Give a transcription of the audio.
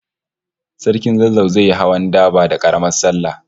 Sarkin Zazzau zai yi hawan daba da Karamar sallah